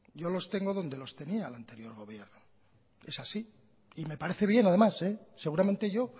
yo los tengo donde los tenía el anterior gobierno es así y me parece bien además seguramente yo